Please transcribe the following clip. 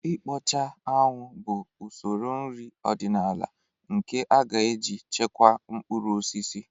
Ịkpọcha anwụ bụ usoro nri ọdịnala nke a ga-eji chekwaa mkpụrụ osisi